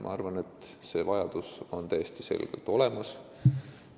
Ma arvan, et see vajadus on täiesti selgelt olemas.